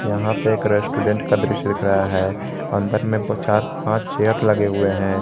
यहां पर एक रेस्टोरेंट का दृश्य दिख रहा है अंदर में चार पांच चेयर लगे हुए हैं।